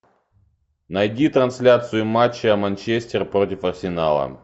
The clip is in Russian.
найди трансляцию матча манчестер против арсенала